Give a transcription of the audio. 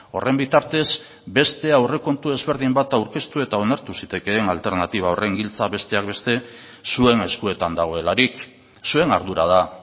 horren bitartez beste aurrekontu ezberdin bat aurkeztu eta onartu zitekeen alternatiba horren giltza besteak beste zuen eskuetan dagoelarik zuen ardura da